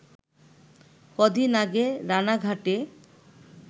ক’দিন আগে রানাঘাটে